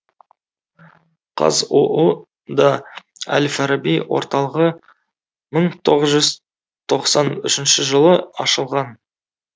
қазұу да әл фараби орталығы мың тоғыз жүз тоқсан үшінші жылы ашылған